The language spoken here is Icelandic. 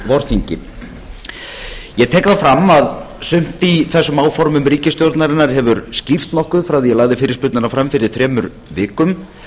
vorþingi ég tek það fram að sumt í þessum áformum ríkisstjórnarinnar hefur skýrst nokkuð frá því að ég lagði fyrirspurnina fram fyrir þremur vikum